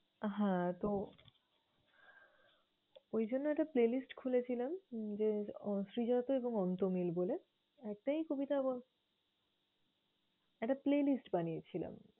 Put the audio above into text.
হ্যাঁ, তো ঐজন্য একটা playlist খুলেছিলাম যে শ্রীজাত এবং অন্ত্যমিল বলে। একটাই কবিতা এবং একটা playlist বানিয়েছিলাম।